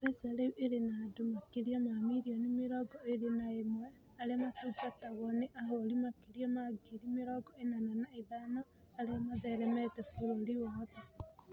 M-PESA rĩu ĩrĩ na andũ makĩria ma milioni mĩrongo ĩĩrĩ na ĩmwe arĩa matungatagwo nĩ ahũri makĩria ma ngiri mĩrongo ĩnana na ithano arĩa matheremete bũrũri wothe.